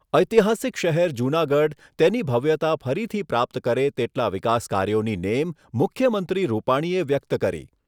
ઐતિહાસિક શહેર જૂનાગઢ તેની ભવ્યતા ફરીથી પ્રાપ્ત કરે તેટલા વિકાસ કાર્યોની નેમ મુખ્યમંત્રી રૂપાણીએ વ્યક્ત કરી